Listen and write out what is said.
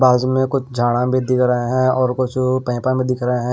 कुछ झांड़ा भी दिख रहे हैं और कुछ पैपा भी दिख रहे हैं।